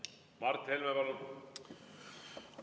Mart Helme, palun!